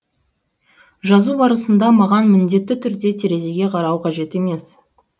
жазу барысында маған міндетті түрде терезеге қарау қажет емес